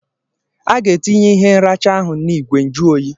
A ga-etinye ihe nracha ahụ na n'ìgwè njuoyi.